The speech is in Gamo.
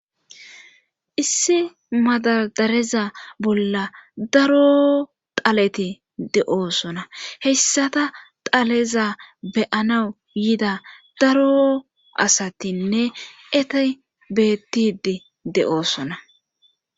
Issi madadareza bolla daro taleti de'oosona hessata taleza beyanawu yida daro asatinne etey bettidi de'oosona